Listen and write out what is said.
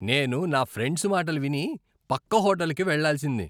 నేను నా ఫ్రెండ్స్ మాటలు విని పక్క హోటల్కి వెళ్లాల్సింది.